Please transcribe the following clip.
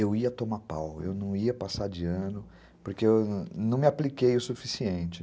eu ia tomar pau, eu não ia passar de ano, porque eu não me apliquei o suficiente.